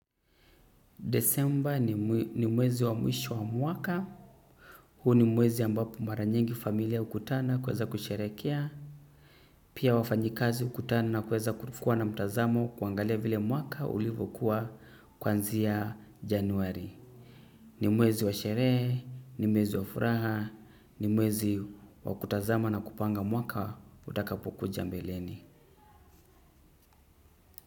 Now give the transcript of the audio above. Desemba ni mwezi wa mwisho wa mwaka. Huu ni mwezi ambapo mara nyingi familia hukutana kuweza kusherekea. Pia wafanyikazi hukutana na kuweza kuwa na mtazamo kuangalia vile mwaka ulivyo kuwa kuanzia januari. Ni mwezi wa sherehe, ni mwezi wa furaha, ni mwezi wa kutazama na kupanga mwaka utakapo kuja mbeleni.